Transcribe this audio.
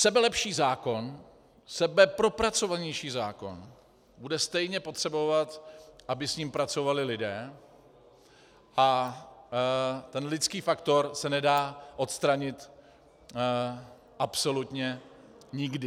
Sebelepší zákon, sebepropracovanější zákon bude stejně potřebovat, aby s ním pracovali lidé, a ten lidský faktor se nedá odstranit absolutně nikdy.